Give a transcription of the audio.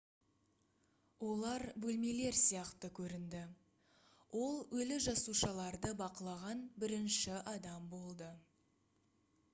олар бөлмелер сияқты көрінді ол өлі жасушаларды бақылаған бірінші адам болды